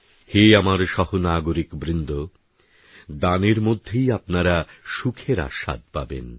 হে আমার সহনাগরিকবৃন্দ দানের মধ্যেই আপনারা সুখের আস্বাদ পাবেন